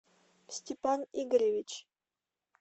степан игоревич